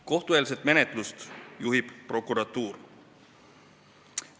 Kohtueelset menetlust juhib prokuratuur.